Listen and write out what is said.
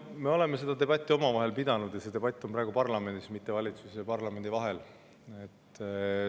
No me oleme seda debatti omavahel pidanud ja see debatt on praegu parlamendis, mitte valitsuse ja parlamendi vahel.